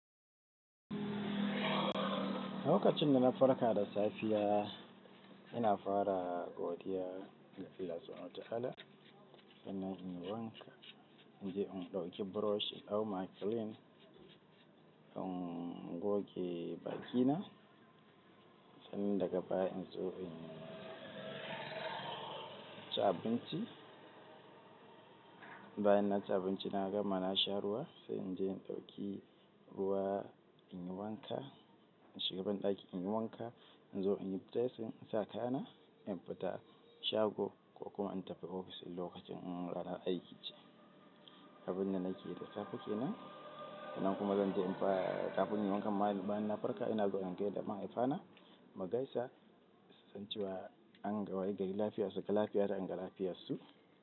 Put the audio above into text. Lokacin da na farka da safiya, ina fara godiya ga tsira subhanahu wa ta'ala. Sannan inyi wanka, in je in ɗauki brush in ɗau maklin in goge bakina. Sannan daga baya in zo in ci abinci. Bayan na ci abinci na gama na sha ruwa sai in je in ɗauki, ruwa in yi wanka. In shiga banɗaki in yi wanka in zo in yi dressing, in sa kaya na, in fita shago ko kuma in tafi ofis in lokacin ranar aiki ce. Abun da nake da safe kenan. Sannan kuma zan je in fara kafin nayi wankanma yanzu bayan na farka ina zauna in gaida mahaifana mugaisa su san cewa, an wayi gari lafiya suga lafiyata, in ga lafiyarsu.